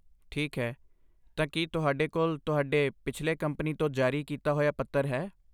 ਠੀਕ ਹੈ, ਤਾਂ ਕੀ ਤੁਹਾਡੇ ਕੋਲ ਤੁਹਾਡੇ ਪਿਛਲੇ ਕੰਪਨੀ ਤੋਂ ਜਾਰੀ ਕੀਤਾ ਹੋਈਆਂ ਪੱਤਰ ਹੈ?